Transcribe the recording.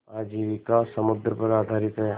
आजीविका समुद्र पर आधारित है